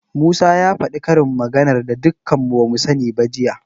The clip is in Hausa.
Musa ya faɗi karin maganar da dukan mu bamu sani ba jiya.